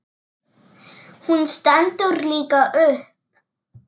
Hún stendur líka upp.